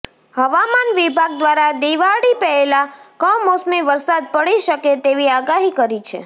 હવામાન વિભાગ દ્વારા દિવાળી પહેલાં કમોસમી વરસાદ પડી શકે તેવી આગાહી કરી છે